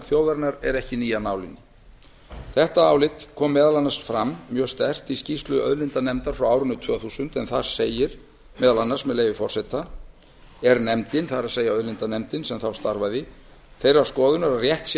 þjóðarinnar er ekki ný af nálinni þetta álit kom meðal annars mjög sterkt fram í skýrslu auðlindanefndar frá árinu tvö þúsund en þar segir meðal annars að auðlindanefndin sem þá starfaði sé með leyfi forseta þeirrar skoðunar að rétt sé